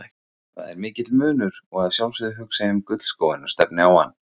Það er mikill munur og að sjálfsögðu hugsa ég um gullskóinn og stefni á hann.